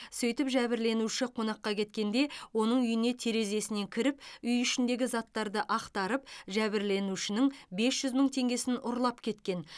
сөйтіп жәбірленуші қонаққа кеткенде оның үйіне терезесінен кіріп үй ішіндегі заттарды ақтарып жәбірленушінің бес жүз мың теңгесін ұрлап кеткен